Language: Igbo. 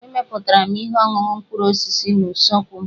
Emepụtara m ihe ọṅụṅụ mkpụrụ osisi n'usekwu m.